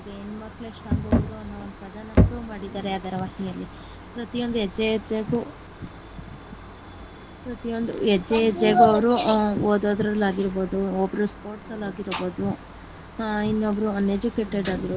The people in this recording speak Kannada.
ಹೆಣ್ಣಮಕ್ಕಳೆ strong ಗುರು ಅನ್ನೋ ಒಂದು ಪದನ prove ಮಾಡಿದ್ದಾರೆ ಧಾರವಾಹಿಯಲ್ಲಿ ಪ್ರತಿಯೊಂದು ಹೆಜ್ಜೆ ಹೆಜ್ಜೆಗು ಪ್ರತಿಯೊಂದು ಹೆಜ್ಜೆ ಹೆಜ್ಜೆಗು ಅವರು ಓದದರಲ್ಲಿ ಆಗಿರಬೋದು ಒಬ್ಬರು sports ಅಲ್ ಆಗಿರಬೋದು ಇನ್ನೊಬ್ಬರು uneducated ಆಗಿರಬೋದು.